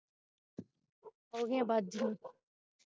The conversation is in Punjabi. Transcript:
ਉਹਦੀਆਂ ਬਾਜ਼ ਗਿਆਂ